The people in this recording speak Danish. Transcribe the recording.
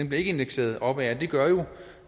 bliver ikke indekseret opad og det gør jo